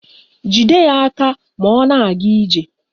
Jide ya aka ma ọ na-aga ije